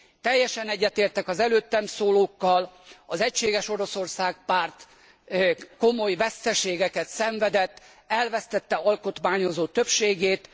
Teljesen egyetértek az előttem szólókkal, az Egységes Oroszország Párt komoly veszteségeket szenvedett, elvesztette alkotmányozó többségét.